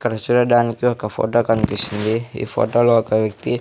ఇక్కడ చూడడానికి ఒక ఫోటో కనిపిస్తుంది ఈ ఫోటోలో ఒక వ్యక్తి--